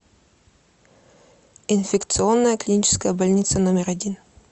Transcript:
инфекционная клиническая больница номер один